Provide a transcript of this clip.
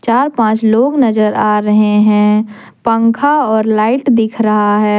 चार पांच लोग नजर आ रहे हैं पंखा और लाइट दिख रहा है।